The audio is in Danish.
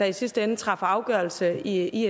i sidste ende træffer afgørelse i